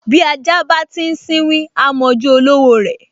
Bí ajá bá ti sínwín, á m’ojú olówó rẹ̀